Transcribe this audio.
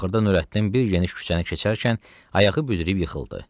Axırda Nurəddin bir geniş küçəni keçərkən ayağı büdrüyüb yıxıldı.